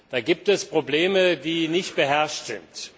Da gibt es Probleme, die nicht beherrschbar sind.